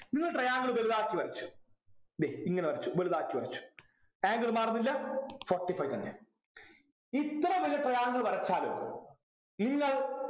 നിങ്ങൾ triangle വലുതാക്കി വരച്ചു ദേ ഇങ്ങനെ വരച്ചു വലുതാക്കി വരച്ചു angle മാറുന്നില്ല forty five തന്നെ ഇത്ര വലിയ triangle വരച്ചാലും നിങ്ങൾ